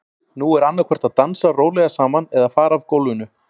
Nú er annað hvort að dansa rólega saman eða fara af gólfinu.